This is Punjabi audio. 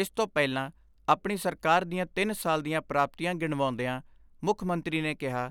ਇਸ ਤੋਂ ਪਹਿਲਾਂ ਆਪਣੀ ਸਰਕਾਰ ਦੀਆਂ ਤਿੰਨ ਸਾਲ ਦੀਆਂ ਪ੍ਰਾਪਤੀਆਂ ਗਿਣਵਾਉਂਦਿਆ ਮੁੱਖ ਮੰਤਰੀ ਨੇ ਕਿਹਾ